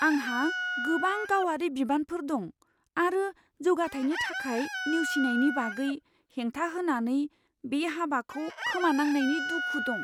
आंहा गोबां गावारि बिबानफोर दं आरो जौगाथायनि थाखाय नेवसिनायनि बागै हेंथा होनानै बे हाबाखौ खोमानांनायनि दुखु दं।